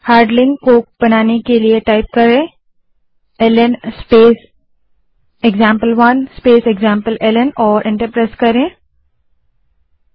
अब ल्न स्पेस एक्जाम्पल1 स्पेस एक्जाम्पलेल्न कमांड टाइप करें और एंटर दबायें